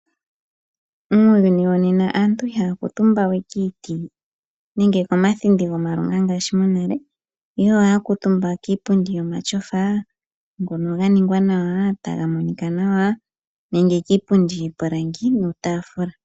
Muuyuni wonena aantu ihaya kuuntumba we kiiti nenge komathindi gomamanya ngaashi monale, ihe ohaya kuuntumba kiipundi yomatyofa, ngono ga ningwa nawa, taga monika nawa, nenge kiipundi yiipilangi niitafula.